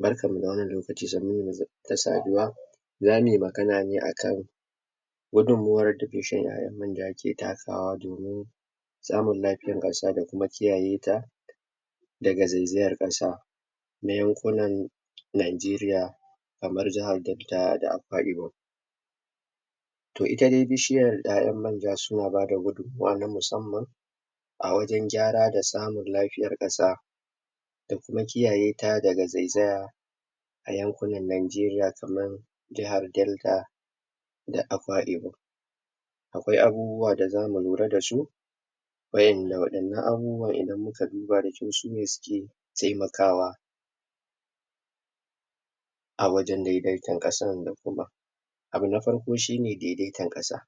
Barkan mu da wannan lokaci sannun mu da saduwa zamuyi magana ne akan gudun mawar da isu ƴaƴan manja ke takawa domin samun lafiyan ƙasa da kuma kiyayeta daga ze zayan ƙasa na yan kunan Najariya kaman jahar delta da akwai ibom to ita dai bishiyar ƴaƴar manja sunaba gudun mawa na musamman a wajan gyara da samun lafiya ƙasa da kuma kiya yeta daga zai zaya ayan kunan Najariya kaman Jahar delta da akwa ibom akwai abubuwa da zamu lura dasu wayanda waɗannan abubuwan kaduba da kyau sune suke temakawa awajan dai daita ƙasan da kuma abu ba farko shine daidaitan ƙasa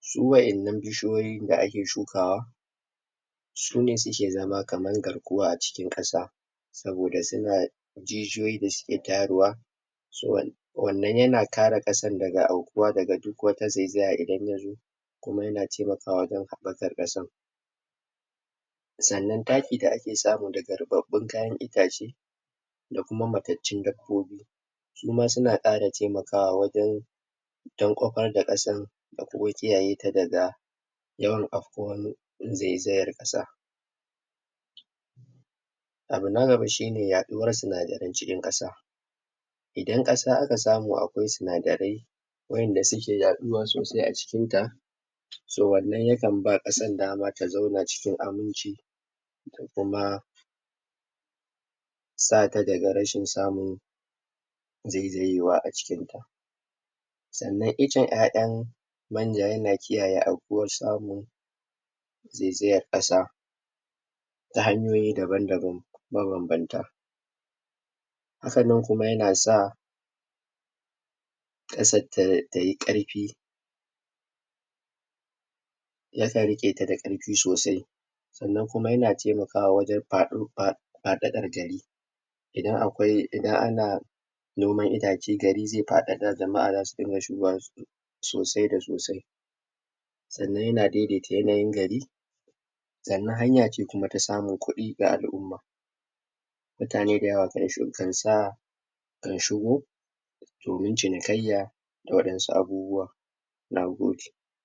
su wayannanan bishi yoyin da ake shukawa sune suke zama kaman garkuwa aciki ƙasa saboda suna jijiyoyin da suke tayarwa suwan wannan yana kara ƙasan daga au kuwa daga duk wata zai zaya inda yazo kuma yana temakawa wajan haɓakar ƙasan sannan taki da ake sa mu daga ruɓaɓun kayan itace da kuma matancun dabbobi suma suna ƙara temakawa wajan dan kwafar da ƙasan da kuma kiyayeta daga yawan afkuwan zai zayan ƙasa abu nagaba shine ya ɗuwar suna daren cikin ƙasa idan ƙasa aka samu akwai sun darai wayanda suke yaɗuwa sosai acikinta so wannan yakan ba ƙasan dama da zauna cikin aminci kuma sata daga rashin samu zai zayewa acikinta sannan ican ƴaƴan manja yana kiyaye aukuwan samu zai zayan ƙasa ta hanyoyi daban daban maban banta hakanan kuma yanasa ƙasar tayi ƙarfi yakan riƙeta da ƙarfi sosai sannan kuma yana te makawa wajan faɗo fa faɗaɗar gari idan akwai idan ana noman itace gari ze faɗaɗa jama a zasu dunga shugowa soosai da sosai sannan yana daidata yanayin gari sannan haya ce kumata samun kuɗi ga al'umma mutane da yawa kansa ka shigo domin cini kaiya da waɗansu abubuwa nagode